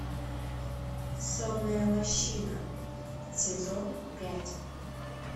сонная лощина сезон пять